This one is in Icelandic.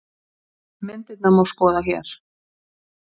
Myndirnar má skoða hér